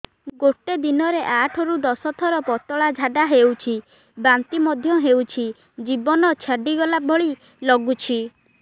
ଗୋଟେ ଦିନରେ ଆଠ ରୁ ଦଶ ଥର ପତଳା ଝାଡା ହେଉଛି ବାନ୍ତି ମଧ୍ୟ ହେଉଛି ଜୀବନ ଛାଡିଗଲା ଭଳି ଲଗୁଛି